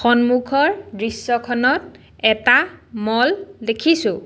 সন্মুখৰ দৃশ্যখনত এটা মল দেখিছোঁ।